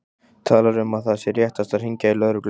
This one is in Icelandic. Talar um að það sé réttast að hringja í lögregluna.